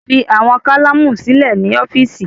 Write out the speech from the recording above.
Fi awọn kalamu silẹ ni ọfiisi